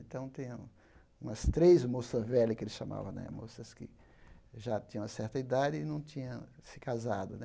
Então, tinham umas três moças velhas que ele chamava né, moças que já tinham certa idade e não tinham se casado né.